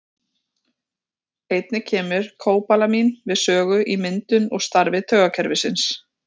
Einnig kemur kóbalamín við sögu í myndun og starfi taugakerfisins.